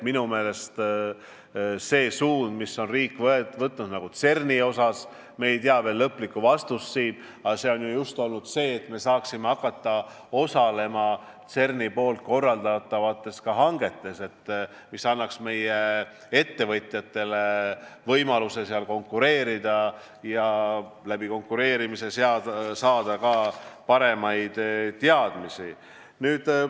Minu meelest on see suund, mille riik on võtnud CERN-i asjus – me ei tea siin veel lõplikku vastust –, just see, et me saaksime hakata osalema CERN-i korraldatavates hangetes, mis annaks meie ettevõtjatele võimaluse seal konkureerida ja sedakaudu saada ka paremaid teadmisi.